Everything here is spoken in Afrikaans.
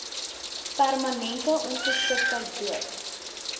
permanente ongeskiktheid dood